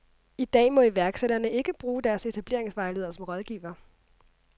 I dag må iværksætterne ikke bruge deres etableringsvejleder som rådgiver.